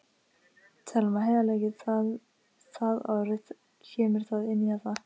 Telma: Heiðarleiki, það orð, kemur það inn í þetta?